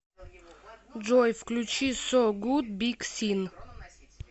джой включи соу гуд биг син